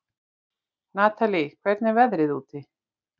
Natalí, hvernig er veðrið úti?